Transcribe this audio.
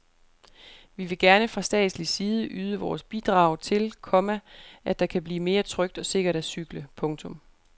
Vi vil gerne fra statslig side yde vores bidrag til, komma at det kan blive mere trygt og sikkert at cykle. punktum